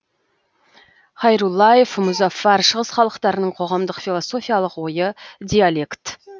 хайруллаев мұзаффар шығыс халықтарының қоғамдық философиялық ойы диалект